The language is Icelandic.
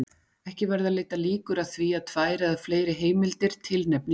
Ekki verða leiddar líkur að því að tvær eða fleiri heimildir tilnefni Jón